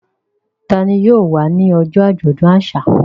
Ta ni yóò wá ní ọjọ́ àjọ̀dún àṣà?